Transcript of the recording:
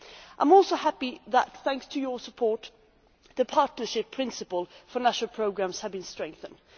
I am also happy that, thanks to your support, the partnership principle for national programmes has been strengthened.